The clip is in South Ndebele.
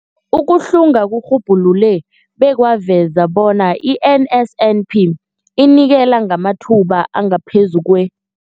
Ukuhlunga kurhubhulule bekwaveza bona i-NSNP inikela ngamathuba angaphezulu kwe-